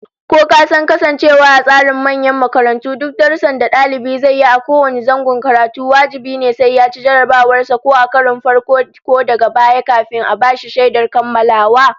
Ko kasan cewa a tsarin manyan makarantu duk darussan da dalibi zai yi a kowane zangon karatu wajibi ne sai yaci jarrabawar sa ko a karon farko ko daga baya, kafin a bashi shaidar kammalawa?